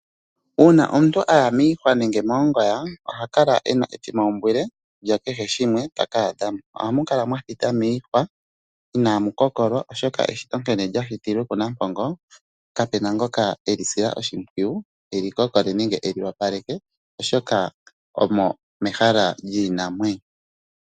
Uuna omuntu a ya miihwa nenge moongoya, oha kala e na etimwaumbwile lyakehe shimwe ta ka adha mo. Ohamu kala mwa thita miihwa inaamu kokolwa oshoka eshito nkene lya shitilwe kuNampongo, kapu na ngoka e li sila oshimpwiyu e li kokole nenge e li opaleke oshoka omo mehala lyiinamwenyo.